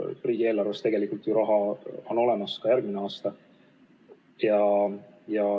Riigieelarves tegelikult ju raha on olemas ka järgmisel aastal.